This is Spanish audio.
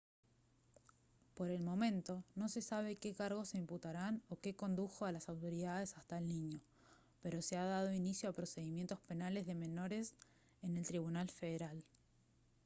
por el momento no se sabe qué cargos se imputarán o qué condujo a las autoridades hasta el niño pero se ha dado inicio a procedimientos penales de menores en el tribunal federal